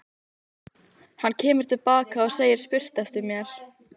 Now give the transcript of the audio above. Hann kemur til baka og segir spurt eftir mér.